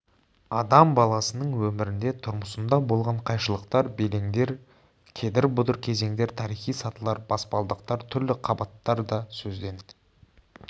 адам баласының өмірінде тұрмысында болған қайшылықтар белеңдер кедір-бұдыр кезеңдер тарихи сатылар баспалдақтар түрлі қабаттар да сөзден